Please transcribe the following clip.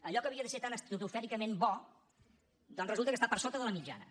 allò que havia de ser tan estratosfèricament bo doncs resulta que està per sota de la mitjana